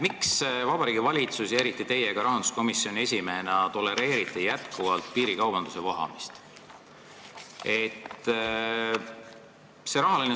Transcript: Miks Vabariigi Valitsus ja eriti ka teie rahanduskomisjoni esimehena tolereerite jätkuvalt piirikaubanduse vohamist?